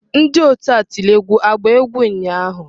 Ndi otu egwu atilogwu agba egwu ụnyahụ?